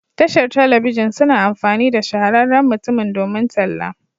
Tashar telebijin suna amfani da shahararren mutumin domin talla.